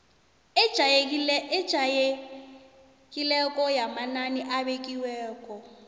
ejayelekileko yamanani abekiweko